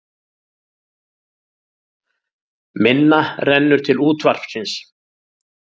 Minna rennur til útvarpsins